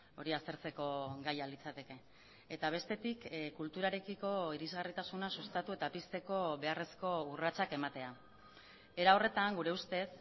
hori aztertzeko gaia litzateke eta bestetik kulturarekiko irisgarritasuna sustatu eta pizteko beharrezko urratsak ematea era horretan gure ustez